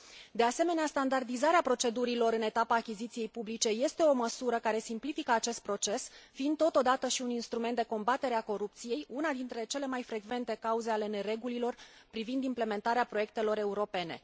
De asemenea, standardizarea procedurilor în etapa achiziției publice este o măsură care simplifică acest proces, fiind totodată și un instrument de combatere a corupției, una dintre cele mai frecvente cauze ale neregulilor privind implementarea proiectelor europene.